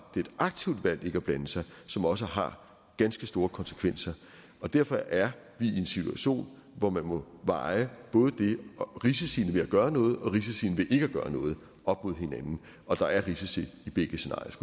et aktivt valg ikke at blande sig som også har ganske store konsekvenser og derfor er vi i en situation hvor man må veje både risiciene ved at gøre noget og risiciene ved ikke at gøre noget op mod hinanden og der er risici